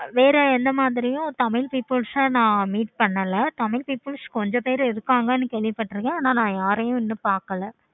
வேற எந்த மாதிரியும் tamil peoples நான் meet பண்ணல. tamil peoples கொஞ்ச பேரு இருப்பாங்க கேள்வி பாத்துருக்கேன். ஆனா நான் meet பண்ணல.